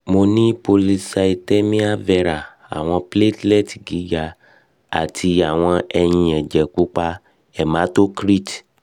mo ni polycythemia vera awọn platelets giga ati awọn eyin ẹjẹ pupa hematocrit